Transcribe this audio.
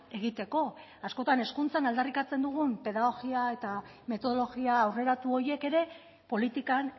egiteko askotan hezkuntza aldarrikatzen dugun pedagogia eta metodologia aurreratu horiek ere politikan